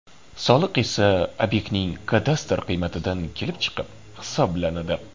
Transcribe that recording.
Soliq esa obyektning kadastr qiymatidan kelib chiqib hisoblanadi.